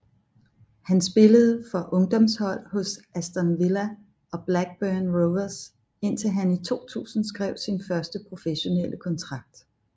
Han spillede for ungdomshold hos Aston Villa og Blackburn Rovers indtil han i 2000 skrev sin første professionelle kontrakt